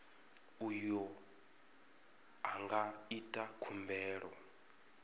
uyo a nga ita khumbelo